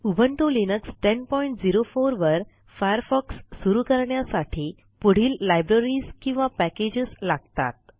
Ubuntu Linux 1004 वर Firefox सुरू करण्यासाठी पुढील लायब्ररीज किंवा पॅकेजेस लागतात